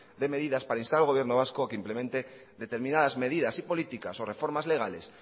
de medidas para instar al gobierno vasco a que implemente determinadas medidas y políticas o reformas legales